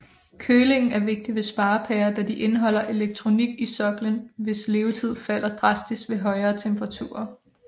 Kølingen er vigtig ved sparepærer da de indeholder elektronik i soklen hvis levetid falder drastisk med højere temperaturer